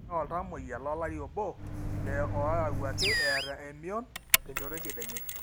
eetai oltamueyia lolari obo lee oyawuaki eeta emieon tenjoto ekedienye